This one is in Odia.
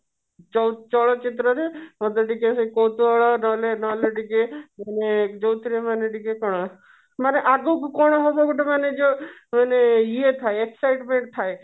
ଚ ଚଳଚିତ୍ରରେ ମତେ ଟିକେ କୌତୁହଳ ନହଲେ ନହଲେ ଟିକେ ଯୋଉଥିରେ ମାନେ ଟିକେ କଣମାନେ ଆଗକୁ କଣ ହବ ଗୋଟେ ମାନେ ଯୋଉ ମାନେ ଟିକେ excitement ଥାଏ